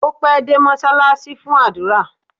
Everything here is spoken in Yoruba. Ó pẹ́ dé mọ́ṣáláṣí fún àdúrà